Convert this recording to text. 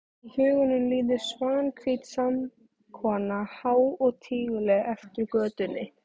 Í huganum líður Svanhvít saumakona há og tíguleg eftir götunni.